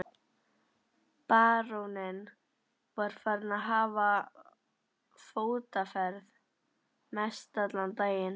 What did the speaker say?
Baróninn var farinn að hafa fótaferð mestallan daginn.